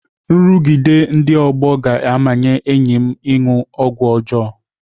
Nrụgide ndị ọgbọ ga-amanye enyi m ịṅụ ọgwụ ọjọọ.